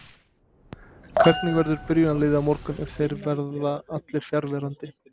Hvernig verður byrjunarliðið á morgun ef þeir verða allir fjarverandi?